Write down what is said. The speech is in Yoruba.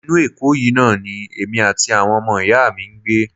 Inú Èkó yìí náà ni èmi àti àwọn ọmọ ìyá mi ń gbé